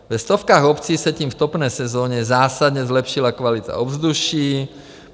Ve stovkách obcí se tím v topné sezóně zásadně zlepšila kvalita ovzduší.